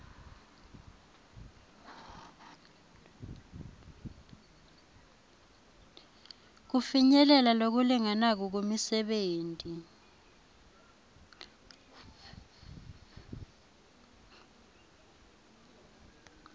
kufinyelela lokulinganako kumisebenti